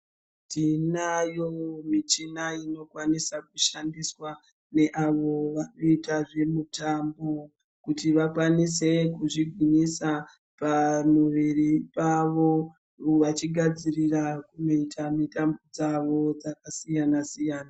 Tinayo michina inokwanisa kushandiswa neavo vanoita zvemutambo kuti vakwanise kuzvigwinyisa pamuviri pavo vachigadzirira kuita mitambo dzavo dzakasiyana siyana.